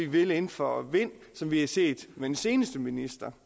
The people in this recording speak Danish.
vil inden for vind som vi har set med den seneste minister